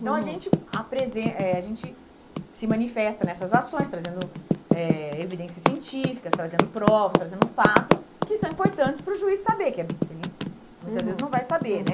Então, a gente apresen eh a gente se manifesta nessas ações, trazendo eh evidências científicas, trazendo provas, trazendo fatos que são importantes para o juiz saber, que é que ele muitas vezes não vai saber, né?